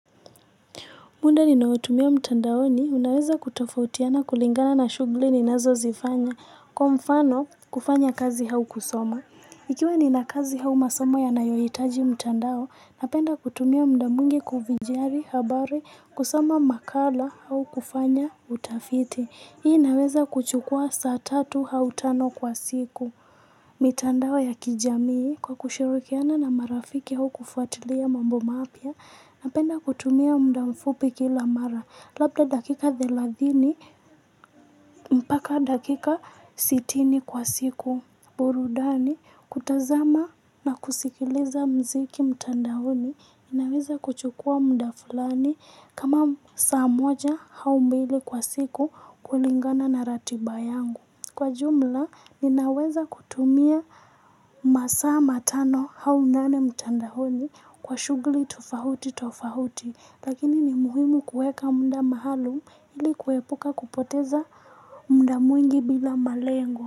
Muda ninaotumia mtandaoni unaweza kutofautiana kulingana na shughuli ninazozifanya. Kwa mfano, kufanya kazi au kusoma. Ikiwa ninq kazi au masomo yanayohitaji mtandao, napenda kutumia muda mwingi kufijari, habari, kusima makala, au kufanya utafiti. Hii naweza kuchukua saa tatu au tano kwa siku. Mitandao ya kijamii kwa kushirikiana na marafiki au kufuatilia mambo mapya Napenda kutumia muda mfupi kila mara Labda dakika thelathini mpaka dakika sitini kwa siku burudani kutazama na kusikiliza mziki mtandaoni inaweza kuchukua muda fulani kama saa moja au mbili kwa siku kulingana na ratiba yangu Kwa jumla ninaweza kutumia masaa matano au nane mtandaoni kwa shughuli tofauti tofauti lakini ni muhimu kueka muda mahali ili kuepuka kupoteza muda mwingi bila malengo.